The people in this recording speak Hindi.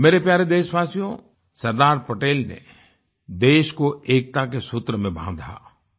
मेरे प्यारे देशवासियो सरदार पटेल ने देश को एकता के सूत्र में बांधा